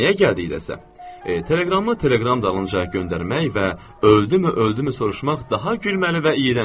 Nəmiyə gəldikdə isə, teleqramı teleqram dalınca göndərmək və öldümü, öldümü soruşmaq daha gülməli və iyrəncdir.